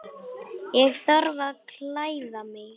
Ég þarf að klæða mig.